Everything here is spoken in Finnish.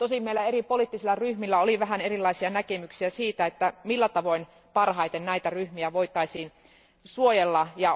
Tosin meillä eri poliittisilla ryhmillä oli vähän erilaisia näkemyksiä siitä, millä tavoin näitä ryhmiä voitaisiin suojella parhaiten.